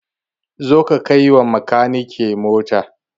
Zo ka kai ma makanikin mota!